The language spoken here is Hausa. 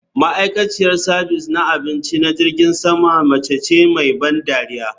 Ma'aikaciyar sabis na abinci na jirgin sama mace ce mai ban dariya